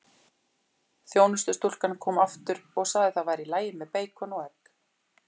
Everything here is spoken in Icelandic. Þjónustustúlkan kom aftur og sagði það væri í lagi með beikon og egg.